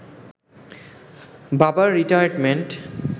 বাবার রিটায়ারমেন্ট